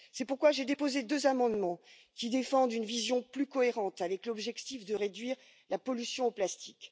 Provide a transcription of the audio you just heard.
C'est pourquoi j'ai déposé deux amendements, qui défendent une vision plus cohérente, avec l'objectif de réduire la pollution au plastique.